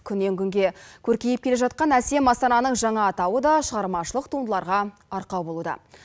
күннен күнге көркейіп келе жатқан әсем астананың жаңа атауы да шығармашылық туындыларға арқау болуда